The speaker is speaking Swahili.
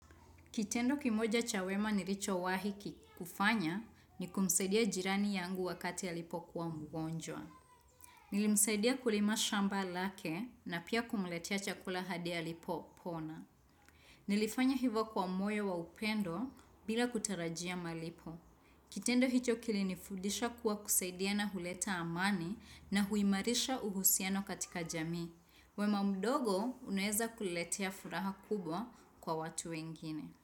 Kitendo kimoja cha wema nilichowahi kufanya ni kumsaidia jirani yangu wakati alipokuwa mgonjwa. Nilimsaidia kulima shamba lake na pia kumletea chakula hadi alipopona. Nilifanya hivyo kwa moyo wa upendo bila kutarajia malipo. Kitendo hicho kilinifudisha kuwa kusaidia na huleta amani na huimarisha uhusiano katika jamii. Wema mdogo unaweza kuletea furaha kubwa kwa watu wengine.